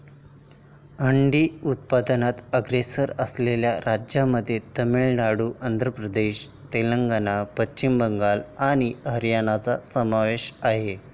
अंडी उत्पादनात अग्रेसर असलेल्या राज्यांमध्ये तामिळनाडू, आंध्र प्रदेश, तेलंगणा, पश्चिम बंगाल आणि हरियाणाचा समावेश आहे.